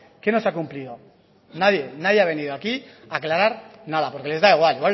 qué no se ha cumplido nadie nadie ha venido aquí a aclarar nada porque les da igual